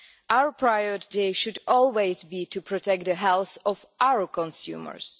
Our priority should always be to protect the health of our consumers.